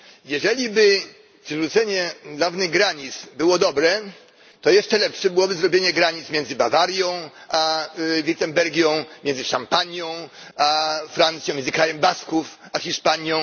Jeżeliby przywrócenie dawnych granic było dobre, to jeszcze lepsze byłoby zrobienie granic między Bawarią a Wirtembergią, między Szampanią a Francją, między Krajem Basków a Hiszpanią.